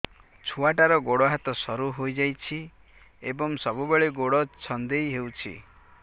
ଛୁଆଟାର ଗୋଡ଼ ହାତ ସରୁ ହୋଇଯାଇଛି ଏବଂ ସବୁବେଳେ ଗୋଡ଼ ଛଂଦେଇ ହେଉଛି